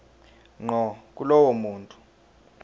ngqo kulowo muntu